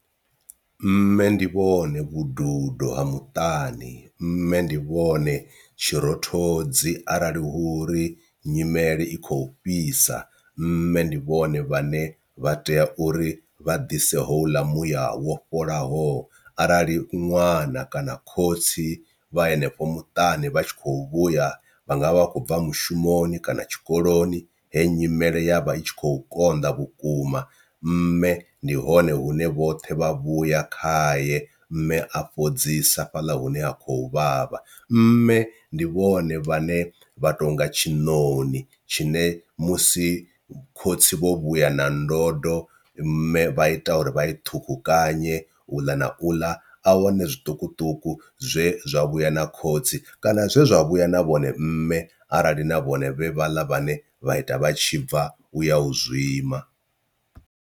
Mme ndi vhone vhududo ha muṱani mme ndi vhone tshirothodzi arali hu uri nyimele i khou fhisa, mme ndi vhone vhaṋe vha tea uri vha dise houḽa muya wo fholaho, arali ṅwana kana khotsi vha henefho muṱani vha tshi khou vhuya vha nga vha vha khou bva mushumoni kana tshikoloni he nyimele ya vha i tshi khou konḓa vhukuma mme ndi hone hune vhoṱhe vha vhuya khaye mme a fhodza ḓisa fhaḽa hune ha khou vhavha. Mme ndi vhone vhane vha tonga tshiṋoni tshine musi khotsi vho vhuya na ndodo mme vha ita uri vha i ṱhukhukanye uḽa na uḽa ahone zwiṱukuṱuku zwe zwa vhuya na khotsi kana zwe zwa vhuya na vhone mme arali na vhone vhe vhaḽa vhane vha ita vha tshi bva u ya u zwima.